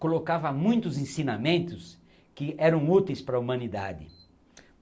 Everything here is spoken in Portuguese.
colocava muitos ensinamentos que eram úteis para a humanidade.